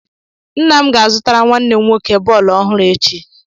Nna m ga-azụtara nwanne m nwoke bọọlụ ọhụrụ echi.